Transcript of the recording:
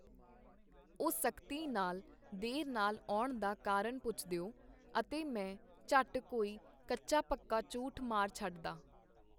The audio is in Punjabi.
ਉਹ ਸਖਤੀ ਨਾਲ ਦੇਰ ਨਾਲ ਆਉਣ ਦਾ ਕਾਰਨ ਪੁਛਦਿਓ, ਅਤੇ ਮੈਂ ਝਟ ਕੋਈ ਕੱਚਾ ਪੱਕਾ ਝੂਠ ਮਾਰ ਛਡਦਾ.